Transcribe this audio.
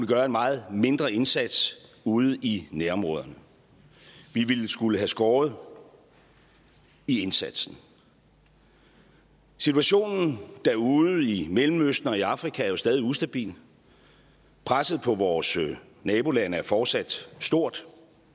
gøre en meget mindre indsats ude i nærområderne vi ville skulle have skåret i indsatsen situationen derude i mellemøsten og i afrika er jo stadig ustabil presset på vores nabolande er fortsat stort